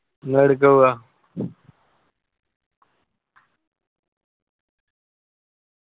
നിങ്ങൾ ഏടുക്ക പോവാ?